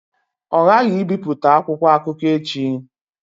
Ọ ghaghị ibipụta akwụkwọ akụkọ echi!